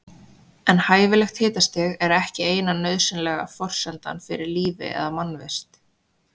En hæfilegt hitastig er ekki eina nauðsynlega forsendan fyrir lífi eða mannvist.